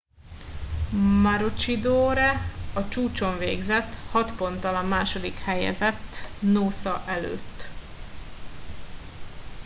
maroochydore a csúcson végzett hat ponttal a második helyezett noosa előtt